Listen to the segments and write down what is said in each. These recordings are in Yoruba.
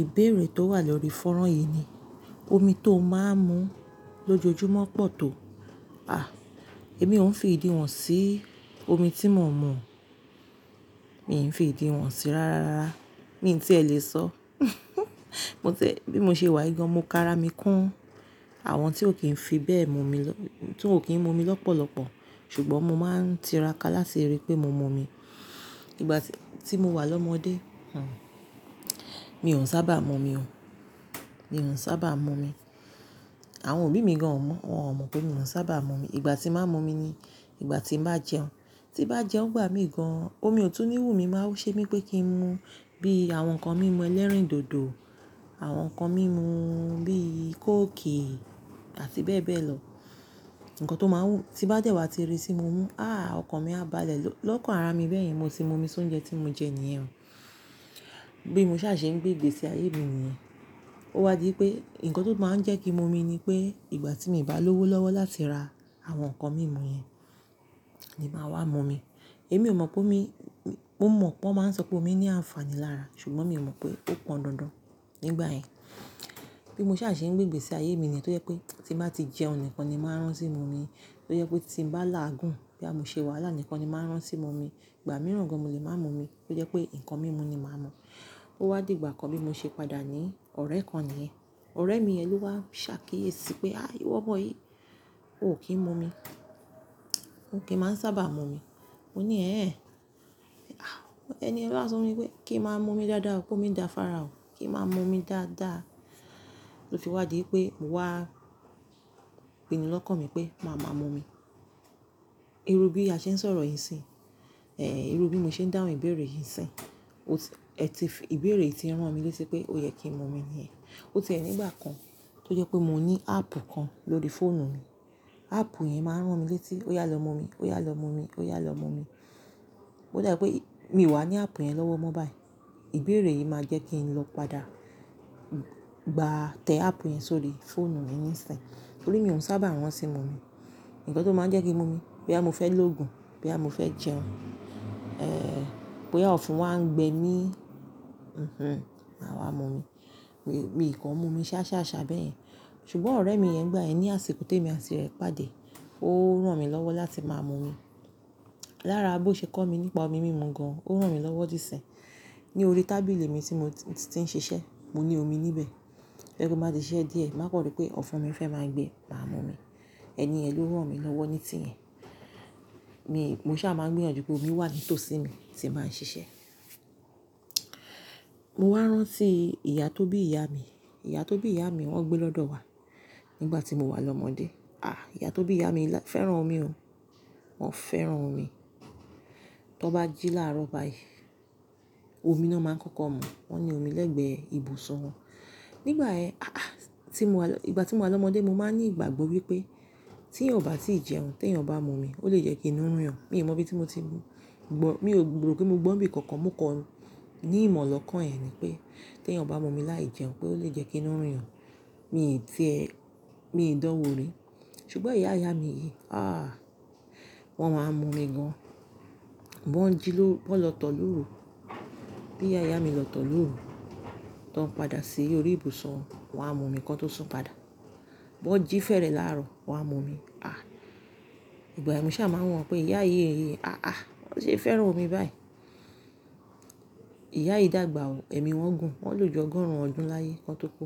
Ìbéèrè tó wà lórí fọ́nrán yìí ni omi tó máa ń mu lójoojúmọ́ pọ̀ tó. À, èmi ò ń fi ìdí wọn sí omi tí mò ń mọ̀. Mi ò ń fi ìdí wọn sí rárá. Mi n tíẹ lè sọ. Mo tẹ́, bí mo ṣe wà gan, mo kára mi kún àwọn tí ó kì ń fi bẹ́ẹ̀ mu mi lọ-- tí ò kí ń mu mi lọ́pọ̀lọpọ̀. Ṣùgbọ́n mo máa ń tiraka láti rí pé mo mu omi. Ìgbà tí mo wà lọ́mọdé, hmm, mi ò sábà mọ̀ mi o. Mi ò sábà mọ̀ mi. Àwọn òbí mi gan ò mọ̀. Wọn ò mọ̀ pé mi ò sábà mọ̀ mi. Ìgbà tí màá ń mu omi ni ìgbà tí bàá jẹun. Tí bá jẹun gbà mí gan-an, omi ò tún ní wú mi, máa ń ṣe mí pé kí ń mu bí àwọn nǹkan mímu ẹlẹ́rìndòdò, àwọn nǹkan mímu bí kókì àti bẹ́ẹ̀ bẹ́ẹ̀ lọ. Ǹkan tó máa ń wú, tí bá dẹ̀ wá ti rí tí mo mú, "Àh! Ọkọ mi a bá lẹ̀ lọ́ kàn ara mi bẹ́ẹ̀ yẹn. Mo ti mu omi sóńjẹ tí mo jẹ níyẹn." Bí mo ṣà ṣe ń gbé ìgbésí ayé mi nìyẹn. Ó wá di pé ǹkan tó máa ń jẹ́ kí ń mu omi ni pé ìgbà tí mo bá lọ́wọ́ lọ́wọ́ láti ra àwọn nǹkan mímu yẹn, ni máa wá ń mu omi. Èmi ò mọ̀ pé ómi-mọ̀ pé wọ́n máa ń sọ pé omi ní àǹfààní lára, ṣùgbọ́n mi ò mọ̀ pé ó pọn dandan nígbà yẹn. Bí mo ṣà ṣe ń gbé ìgbésí ayé mi ni yẹn tó yẹ pé tí bá ti jẹun nìkan ni máa rán ti mu omi. Tó yẹ pé tí mo bá làágùn bí àmúṣe wàhálà nìkan ni máa rán sí mu omi. Ìgbà mìíràn gan mo lè máa ń mu omi, tó jẹ́ pé nǹkan mímu ni màá ń mu. Ó wá di ìgbà kan bí mo ṣe padà ní ọ̀rẹ́ kan nìyẹn. Ọ̀rẹ́ mi yẹn ló wá ṣàkíyèsí pé, "Á wọ́n bọ́ yìí, o ò kí ń mu omi. O kì í máa ń sábà mu omi." Mo ní, "Ẹ́ ẹ̀." Àwọn ẹni yẹn wa sọ fún mi wípé kí ń máa ń mu omi dáadáa, pé ó mi dàfara o. Kí ń máa ń mu omi dáadáa. Ó fi wá di pé mo wá pinnu lọ́kàn mi pé màá máa ń mu omi. Irú bí a ṣe ń sọ̀rọ̀ yìí sí, irú bí mo ṣe ń dáhùn ìbéèrè yìí sí, o ti-- ẹ ti fi ìbéèrè yìí rán mi létí pé ó yẹ kí ń mu omi nìyẹn. Ó ti ẹ nígbà kan tó jẹ́ pé mo ní áàpù kan lórí fóònù mi. Áàpù yẹn máa ń rán mi létí ó yá lọ mu omi, ó yá lọ mu omi, ó yá lọ mu omi. O dà pé mi wà ní àpù yẹn lọ́wọ́ mọ́ báyìí. Ìbéèrè yìí máa jẹ́ kí ń lọ padà gba tẹ àpù yẹn sórí fóònù mi níìsín. Nítorí mi ò sábà rán ti mu omi. Ǹkan tó máa ń jẹ́ kí ń mu omi bí àmú fẹ́ lògùn, bí àmú fẹ́ jẹun, eh, boya ofún wá ń gbẹ mí, máa wá ń mu omi. Mi ko n mú omi sáṣá ṣà bẹ́ẹ̀. Ṣùgbọ́n ọ̀rẹ́ mi yẹn nígbà yem ni àṣìkò tì emi àti rẹ̀ pàdé, ó rán mi lọ́wọ́ láti máa mu omi. Lára bó ṣe kọ́ mi nípa omi mímu gan-an, ó rán mi lọ́wọ́ dí sinyi. Ní orí tábìlì mi tí mo ti ń ṣiṣẹ́, mo ní omi níbẹ̀. To ye pe ti n bá ti ṣẹ́ díẹ̀, màá kọ̀ ri pé ọ̀fún mi fẹ́ máa gbé, màá mu omi. Ẹni yẹn ló rán mi lọ́wọ́ ní tí yẹn. Mi, mo ṣà máa ń gbìyànjú pé omi wà ní tòsí mi tí bàá ń ṣiṣẹ́. Mo wá rán sí ìyá tó bí ìyá mi. Ìyá tó bí ìyá mi wọ́n gbé lọ́dọ̀ wa nígbà tí mo wà lọ́mọdé. Àh! Ìyá tó bí ìyá mi fẹ́ràn omi o. Wọ́n fẹ́ràn omi. Tọ́ bá jí láàárọ̀ báyìí, omi náà máa ń kọ́kọ́ mú. Wọ́n ní omi lẹ́gbẹ̀ẹ́ ibùsọ̀ wọn. Nígbà ẹ́, àhàha Tí mo wà lọ-- ìgbà tí mo wà lọ́mọdé, mo máa ń ní ìgbàgbọ́ wípé tí èèyàn bá ti jẹun, tí èèyàn bá mu omi, ó lè jẹ́ kí inú ruyan. Mi ò mọ bí tí mo ti mọ̀. Mi ò gbèrò pé mo gbọ́ bí kankan, mo kọ ní ìmọ̀ lọ́kàn ẹ́n ni pé tí èèyàn bá mu omi láì jẹun pé ó lè jẹ́ kí inú ríran. Mi ò tí ẹ́, mi ò dáwọ́ ri. Ṣùgbọ́n ìyá ìyá mi yìí, ah! Wọ́n máa ń mu omi gan. Bí wọ́n jí lọ-- bí wọ́n lọ tọ̀ lóru, bí ìyá ìyá mi lọ tọ̀ lóru, tọ́ ń padà sí orí ibùsọ̀ wọn, wọ́n á mu ǹkan tó sún padà. Bí wọ́n jí fẹ́rẹ̀ láàárọ̀, wọ́n á mu omi. Ah! Ìgbà yen mo ṣà máa ń wọ́n pé ìyá yìí, ìyá yìí, àhà! Wọn ṣé ń fẹ́ràn omi báyìí. Ìyá yìí dàgbà o, èmi wọ́n gùn. Wọ́n lò jọ gọ́rùn ọdún láyé, ki wọn tó kú.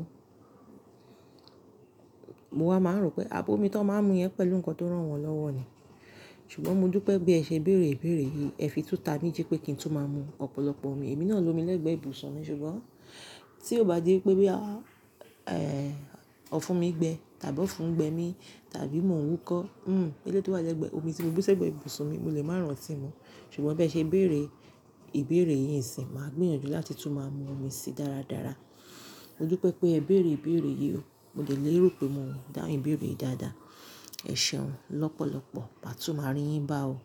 Mo wá máa ń rò pé abo omi tó máa ń mu yẹn pẹ̀lú ǹkan tó rán wọn lọ́wọ́ ni. Ṣùgbọ́n mo dú pé bí ẹ ṣe ń béèrè ìbéèrè yìí, ẹ fi tú ta mí dí pé kí ń tún máa mu ọ̀pọ̀lọpọ̀ omi. Èmi náà ń lo omi lẹ́gbẹ̀ẹ́ ibùsọ̀ mi, ṣùgbọ́n tí ó bá di wípé bí à, ọ̀fún mi gbẹ tàbí ọ̀fún gbẹ mi tàbí mò ń wúkọ́, hm, elétò wà lẹ́gbẹ̀ẹ́ omi tí mo bú sí ẹgbẹ́ ibùsọ̀ mi, mo lè máa ń rántí mu. Ṣùgbọ́n bí ẹ ṣe béèrè ìbéèrè yìí n sín màá gbìyànjú láti tú máa mu omi si dáradára. Mo dú pé pé ẹ béèrè ìbéèrè yìí o, mo dẹ̀ lérò pé mò ń dáhùn ìbéèrè yìí dáadáa. Ẹ ṣeun lọ́pọ̀lọpọ̀. Màá tú máa rí yín bá o.